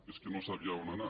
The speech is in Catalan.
que és que no sabia on anar